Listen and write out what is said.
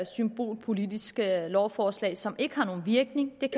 symbolpolitiske lovforslag som ikke har nogen virkning hvad